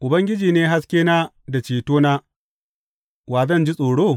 Ubangiji ne haskena da cetona, wa zan ji tsoro?